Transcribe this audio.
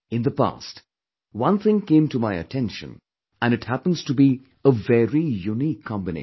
In the past, one thing came to my attention and it happens to be a very unique combination